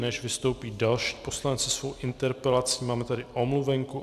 Než vystoupí další poslanci se svou interpelací, máme tady omluvenku.